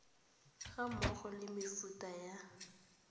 ga mmogo le mefuta ya